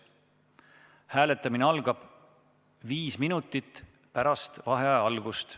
Hääletamine algab viis minutit pärast vaheaja algust.